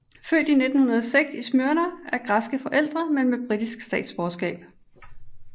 Født 1906 i Smyrna af græske forældre men med britisk statsborgerskab